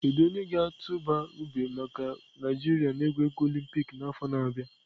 Kedu onye ga-atụba ube maka Naijiria na egwuregwu olympic n'afọ na-abịa?